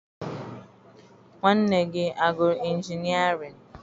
Nwanne gị agụrụ injinịarịn?